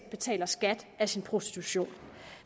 betaler skat af sin prostitution